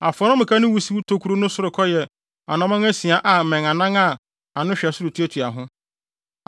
Afɔremuka no wusiw tokuru no sorokɔ yɛ anammɔn asia a mmɛn anan a ano hwɛ soro tuatua ho.